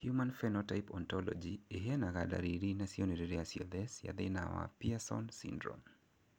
Human Phenotype Ontology ĩheanaga ndariri na cionereria ciothe cia thĩna wa Pierson syndrome.